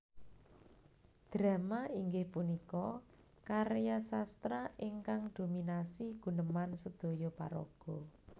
Drama inggih punika karya sastra ingkang dominasi guneman sedhoyo paraga